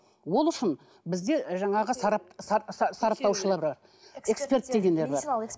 ол үшін бізде жаңағы сарап сараптаушылар бар эксперт дегендер бар